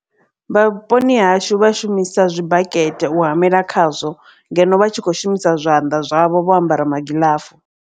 Vha vhuponi hashu vha shumisa zwi bakete u hamela khazwo ngeno vha tshi khou shumisa zwanḓa zwavho vho ambara magiḽafu.